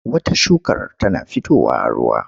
Wata shukar tana fitowa a ruwa.